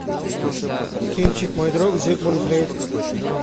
кинчик мой друг зигмунд фрейд